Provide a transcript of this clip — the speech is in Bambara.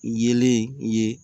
Yeelen ye